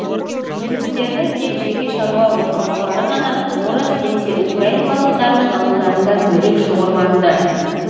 немістердің тек жеке шаруа отбасылары ғана орыс немесе украин халықтарының ауылдарында бөлек шоғырланды